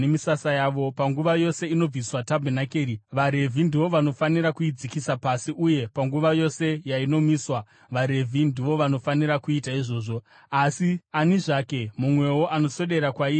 Panguva yose inobviswa tabhenakeri, vaRevhi ndivo vanofanira kuidzikisa pasi, uye panguva yose yainomiswa, vaRevhi ndivo vanofanira kuita izvozvo. Ani zvake mumwewo anoswedera kwairi achaurayiwa.